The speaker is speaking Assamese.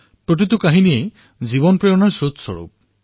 সকলোৰে জীৱন প্ৰেৰণাৰ স্ৰোতস্বৰূপ